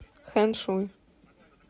хэншуй